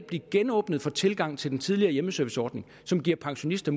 blive genåbnet for tilgangen til den tidligere hjemmeserviceordning som giver pensionister